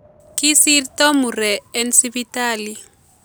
Kisirta muree en Sipitali